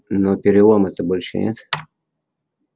но перелома-то больше нет